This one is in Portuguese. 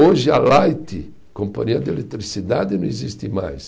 Hoje a Light, companhia de eletricidade, não existe mais.